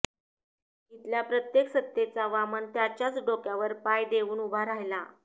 इथल्या प्रत्येक सत्तेचा वामन त्याच्याच डोक्यावर पाय देवून उभा राहिला